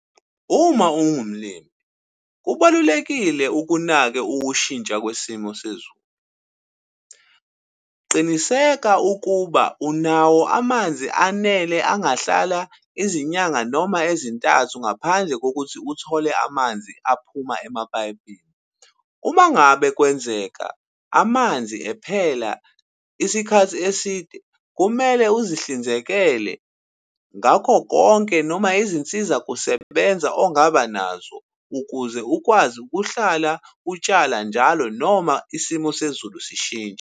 Uma uwumlimi kubalulekile ukunake ukushintsha kwesimo sezulu. Qiniseka ukuba unawo amanzi anele angahlala izinyanga noma ezintathu, ngaphandle kokuthi uthole amanzi aphuma emapayipini. Uma ngabe kwenzeka amanzi ephela isikhathi eside, kumele uzihlinzekele ngakho konke noma izinsiza kusebenza ongaba nazo, ukuze ukwazi ukuhlala utshala njalo noma isimo sezulu sishintshe.